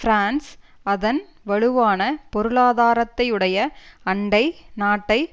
France அதன் வலுவான பொருளாதாரத்தையுடைய அண்டை நாட்டை